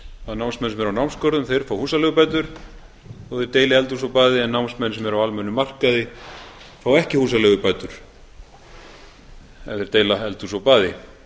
að námsmenn sem eru á námsgörðum þeir fá húsaleigubætur þó að þeir deili eldhúsi og baði en námsmenn sem eru á almennum markaði fá ekki húsaleigubætur ef þeir deila eldhúsi og baði